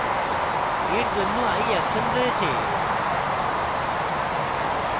for জন্য i action রয়েছে